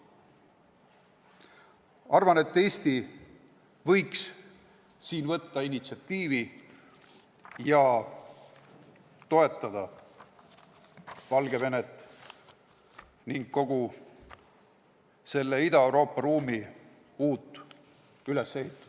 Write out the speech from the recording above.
Arvan, et Eesti võiks siin initsiatiivi võtta ning toetada Valgevenet ja kogu Ida-Euroopa ruumi uut ülesehitust.